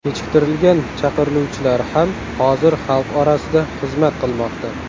Kechiktirilgan chaqiriluvchilar ham hozir xalq orasida xizmat qilmoqda.